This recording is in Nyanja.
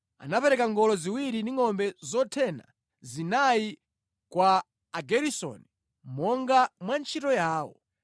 Anapereka ngolo ziwiri ndi ngʼombe zothena zinayi kwa Ageresoni monga mwantchito yawo